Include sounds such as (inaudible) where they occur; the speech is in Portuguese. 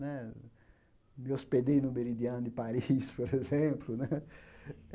Né me hospedei no Meridiano de Paris, (laughs) por exemplo né.